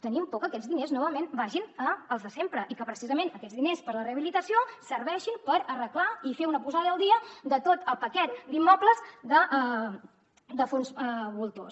tenim por que aquests diners novament vagin als de sempre i que precisament aquests diners per a la rehabilitació serveixin per arreglar i fer una posada al dia de tot el paquet d’immobles de fons voltors